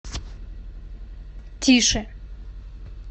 тише